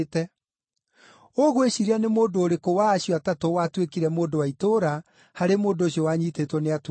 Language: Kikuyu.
“Ũgwĩciiria nĩ mũndũ ũrĩkũ wa acio atatũ watuĩkire mũndũ wa itũũra harĩ mũndũ ũcio wanyiitĩtwo nĩ atunyani?”